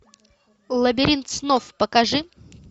лабиринт снов покажи